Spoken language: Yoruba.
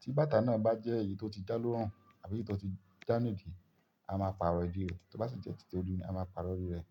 Tí bàtà náà bá jẹ́ èyí tó ti já lórun àbí èyí tó ti já ní ìdí, a máa pàrọ̀ ìdí rẹ̀. Tí ó bá sì jẹ́ títí ori ni, a máa pàrọ̀ orí rẹ̀.